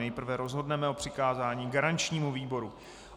Nejprve rozhodneme o přikázání garančnímu výboru.